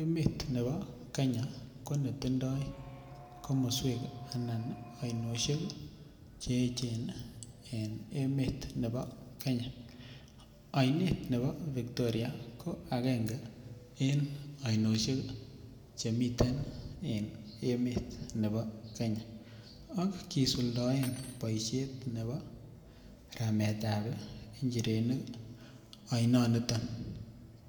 Emet nebo Kenya ko netindoi komoswek anan oinoshek cheyechen ene emet nebo Kenya, oinet nebo lake Victoria ko agenge en oinoshek chemiten en emet nebo Kenya ak kisuldoen boishet nebo rametab inchirenik oinoniton.